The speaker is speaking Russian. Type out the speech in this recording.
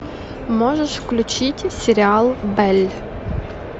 можешь включить сериал белль